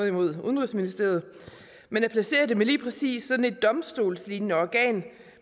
imod udenrigsministeriet men at placere dem i lige præcis sådan et domstolslignende organ